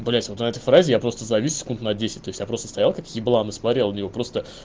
блять вот на этой фразе я просто завис секунд на десять то есть я просто стоял как еблан и смотрел на неё просто